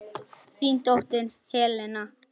Þín dóttir Helena.